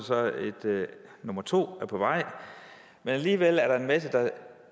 nummer to på vej men alligevel er der en masse der